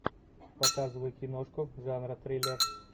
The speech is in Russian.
показывай киношку жанра триллер